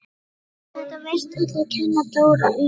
Þetta virtust allir kenna Dóra um.